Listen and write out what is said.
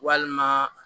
Walima